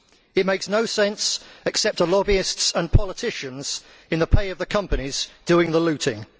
It makes no sense except to lobbyists and politicians in the pay of the companies doing the looting.